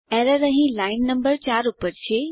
error અહીં line number 4 પર છે